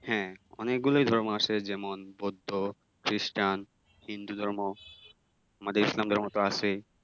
হ্যাঁ, অনেকগুলোই ধর্ম আছে যেমন- বৌদ্ধ, খ্রিষ্টান, হিন্দু ধর্ম, আমাদের ইসলাম ধর্ম তো আছেই ।